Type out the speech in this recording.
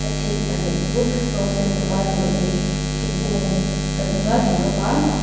a chhip pahnih chu rawng sen duk a chei ani thingkung kan hmunual thei bawk a--